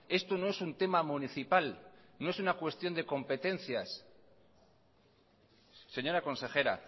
esto no es un tema municipal no es una cuestión de competencias señora consejera